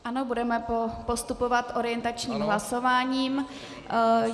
Ano, budeme postupovat orientačním hlasováním.